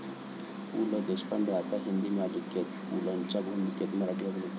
पु. ल. देशपांडे आता हिंदी मालिकेत, पुलंच्या भूमिकेत मराठी अभिनेता